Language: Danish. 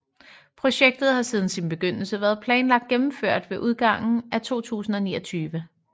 Projektet har siden sin begyndelse været planlagt gennemført ved udgangen af 2029